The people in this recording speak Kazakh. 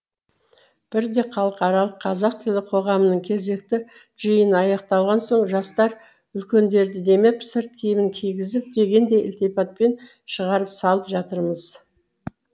бірде халықаралық қазақ тілі қоғамының кезекті жиыны аяқталған соң жастар үлкендерді демеп сырт киімін кигізіп дегендей ілтипатпен шығарып салып жатырмыз